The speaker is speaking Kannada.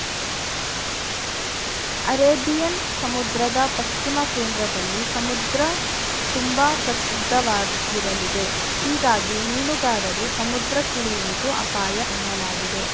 ಅರೇಬಿಯನ್‌ ಸಮುದ್ರದ ಪಶ್ಚಿಮ ಕೇಂದ್ರದಲ್ಲಿ ಸಮುದ್ರ ತುಂಬಾ ಪ್ರಕ್ಷುಬ್ಧವಾಗಿರಲಿದೆ ಹೀಗಾಗಿ ಮೀನುಗಾರರು ಸಮುದ್ರಕ್ಕಿಳಿಯುವುದು ಅಪಾಯ ಎನ್ನಲಾಗಿದೆ